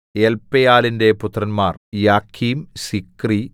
എല്പയലിന്റെ പുത്രന്മാർ യാക്കീം സിക്രി